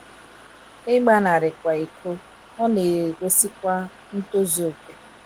ịgba nari ikwa iko,, ọ na - egosikwa ntozu okè.